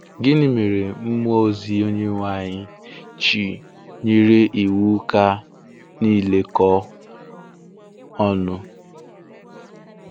Gịnị mere mmụọ ozi Onyenwe anyị ji nyere iwu ka niile kụọ̀ ọṅụ̀?